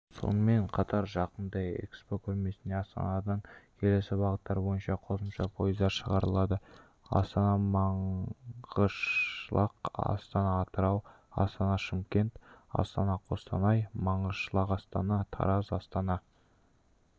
сонымен қатар жақында экспо көрмесіне астанадан келесі бағыттар бойынша қосымша пойыздар шығарылады астанамаңғышлақ астанаатырау астанашымкент астанақостанай маңғышлақастана тараз астана ораластана